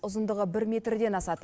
ұзындығы бір метрден асады